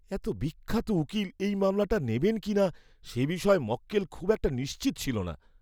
এত বিখ্যাত উকিল এই মামলাটা নেবেন কি না, সে বিষয়ে মক্কেল খুব একটা নিশ্চিত ছিল না।